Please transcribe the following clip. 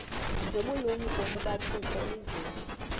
nobulumko bukathixo elizwini